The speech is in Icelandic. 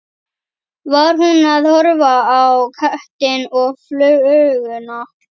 Var hún að horfa á köttinn og fluguna?